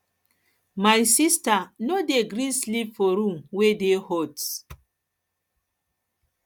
my sista no dey gree sleep for room wey dey hot